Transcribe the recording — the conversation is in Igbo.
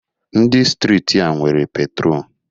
Ndi steeti a nwere petro